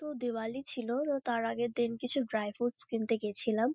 তো দিওয়ালি ছিল। তো তার আগেরদিন কিছু ড্রাই ফুডস কিনতে গেছিলাম।